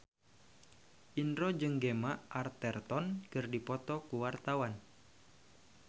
Indro jeung Gemma Arterton keur dipoto ku wartawan